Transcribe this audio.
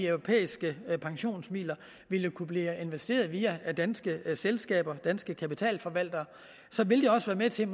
europæiske pensionsmidler ville kunne blive investeret via danske selskaber danske kapitalforvaltere ville det også være med til